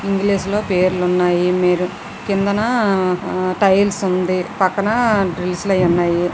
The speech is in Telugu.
ఇంగ్లీషు లో పేర్లున్నాయి మీరు కిందన ఆ టైల్స్ ఉంది పక్కన డ్రిల్స్ అయి ఉన్నాయి.